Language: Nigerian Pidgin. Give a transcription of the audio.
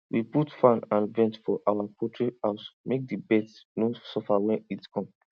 we put fan and vent for our poultry house make the birds no suffer when heat come